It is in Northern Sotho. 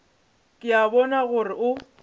ke a bona gore o